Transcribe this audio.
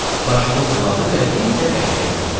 Başını buladı və bir də bərkdən güldü.